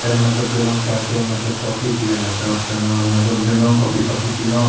फेर हम मतलब गेलो कैफे मतलब कॉफी पिएले ते ओता ने मतलब गेलो कॉफी तोफी पीलो।